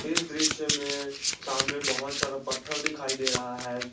इस दृश्य में सामने बहोत सारा पत्थर दिखाई दे रहा है।